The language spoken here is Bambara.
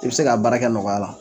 I bɛ se ka baara kɛ nɔgɔya la